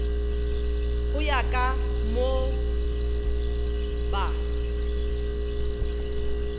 go ya ka moo ba